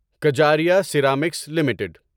Kajaria ceramics limited